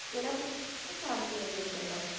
ਕਿਹੜਾ ਤੁਸੀਂ ਪੁੱਛ ਰਹੇ ਸ਼ਾਂਤੀ ਨਿਕੇਤਨ ਦਾ।